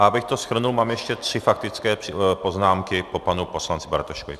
A abych to shrnul, mám ještě tři faktické poznámky po panu poslanci Bartoškovi.